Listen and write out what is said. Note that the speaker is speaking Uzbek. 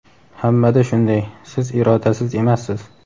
Hammada shunday, siz irodasiz emassiz.